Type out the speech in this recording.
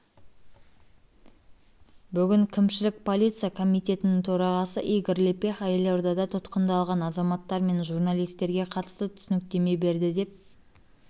бүгін кімшілік полиция комитетінің төрағасы игорь лепеха елордада тұтқындалған азаматтар мен журналистерге қатысты түсініктеме берді деп